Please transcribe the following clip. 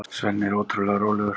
Svenni er ótrúlega rólegur.